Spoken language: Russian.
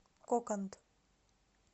коканд